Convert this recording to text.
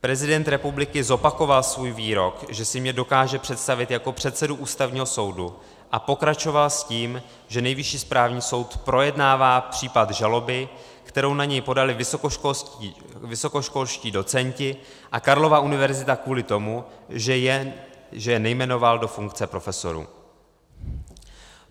Prezident republiky zopakoval svůj výrok, že si mě dokáže představit jako předsedu Ústavního soudu, a pokračoval s tím, že Nejvyšší správní soud projednává případ žaloby, kterou na něj podali vysokoškolští docenti a Karlova univerzita kvůli tomu, že je nejmenoval do funkce profesorů.